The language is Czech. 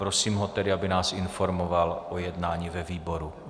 Prosím ho tedy, aby nás informoval o jednání ve výboru.